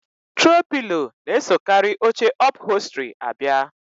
Trow pilo na-esokarị oche ọpholstri abia